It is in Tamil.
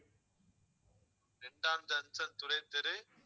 இரண்டாம் junction துரைத்தெரு